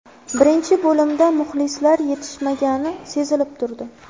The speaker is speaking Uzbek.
Birinchi bo‘limda muxlislar yetishmagani sezilib turdi.